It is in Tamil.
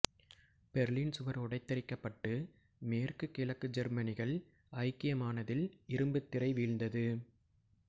பெர்லின் சுவர் உடைத்தெரிக்கப் பட்டு மேற்கு கிழக்கு ஜெர்மனிகள் ஐக்கியமானதில் இரும்புத் திரை வீழ்ந்தது